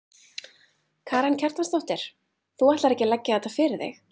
Karen Kjartansdóttir: Þú ætlar ekki að leggja þetta fyrir þig?